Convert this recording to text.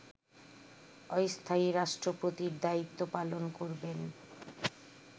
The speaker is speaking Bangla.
অস্থায়ী রাষ্ট্রপতির দায়িত্ব পালন করবেন